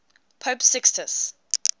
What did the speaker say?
pope sixtus